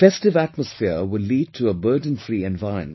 The festive atmosphere will lead to a burdenfree environment